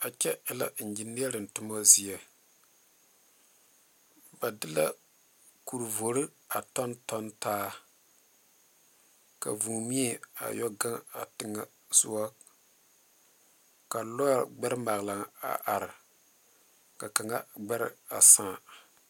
A kyɛ e la eŋgineɛriŋ toma zie ba de la kuri vori a tonton taa ka vuu mie a yɛ gaŋgaŋ a tigɛ sugɔ ka lɔri gbɛri maglaŋ a are ka kaŋa sãã.